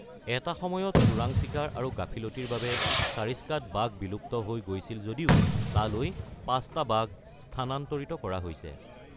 এটা সময়ত চোৰাং চিকাৰ আৰু গাফিলতিৰ বাবে ছাৰিস্কাত বাঘ বিলুপ্ত হৈ গৈছিল যদিও তালৈ ৫টা বাঘ স্থানান্তৰিত কৰা হৈছে।